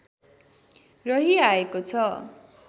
रहिआएको छ